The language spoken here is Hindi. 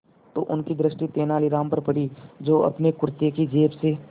तो उनकी दृष्टि तेनालीराम पर पड़ी जो अपने कुर्ते की जेब से